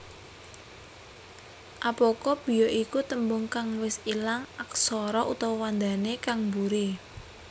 Apocope ya iku tembung kang wis ilang aksara/wandané kang buri